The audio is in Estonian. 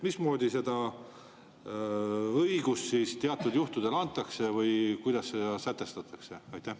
Mismoodi seda õigust siis teatud juhtudel antakse või kuidas see sätestatakse?